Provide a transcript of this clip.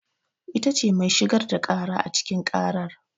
Ita ce mai shigar da ƙara a cikin ƙarar.